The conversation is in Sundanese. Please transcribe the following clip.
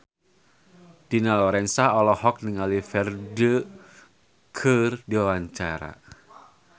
Dina Lorenza olohok ningali Ferdge keur diwawancara